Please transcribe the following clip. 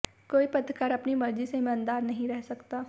कोई पत्रकार अपनी मर्जी से ईमानदार नहीं रह सकता